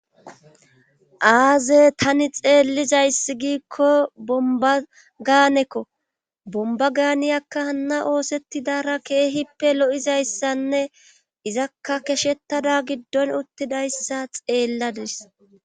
Aaze tani xeellizayssi giikko bomba gaanekko bomba gaaniyakka hanna oosettidara keehippe lo7izayssanne izakka keshettada giddon uttidayssa xeelladis.